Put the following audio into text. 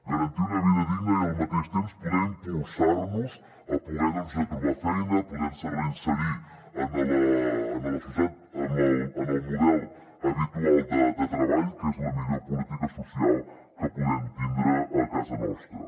garantir una vida digna i al mateix temps poder impulsar los a poder trobar feina poder se reinserir en la societat en el model habitual de treball que és la millor política social que podem tindre a casa nostra